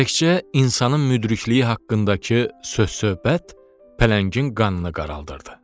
Təkcə insanın müdrikliyi haqqındakı söz-söhbət pələngin qanını qaraldırdı.